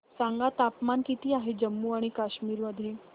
सांगा तापमान किती आहे जम्मू आणि कश्मीर मध्ये